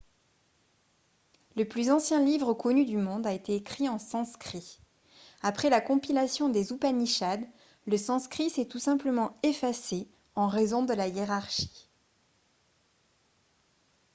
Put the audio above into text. le plus ancien livre connu du monde a été écrit en sanskrit après la compilation des upanishads le sanskrit s'est tout simplement effacé en raison de la hiérarchie